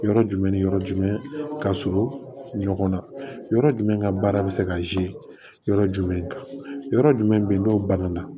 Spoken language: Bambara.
Yɔrɔ jumɛn ni yɔrɔ jumɛn ka surun ɲɔgɔn na yɔrɔ jumɛn ka baara bɛ se ka yɔrɔ jumɛn kan yɔrɔ jumɛn n'o banna